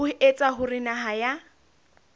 ho etsa hore naha ya